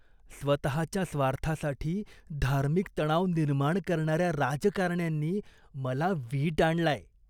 स्वतःच्या स्वार्थासाठी धार्मिक तणाव निर्माण करणाऱ्या राजकारण्यांनी मला वीट आणलाय.